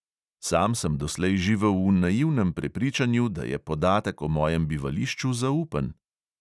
Sam sem doslej živel v naivnem prepričanju, da je podatek o mojem bivališču zaupen.